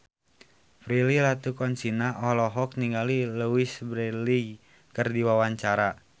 Prilly Latuconsina olohok ningali Louise Brealey keur diwawancara